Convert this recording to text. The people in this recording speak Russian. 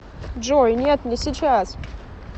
джой нет не сейчас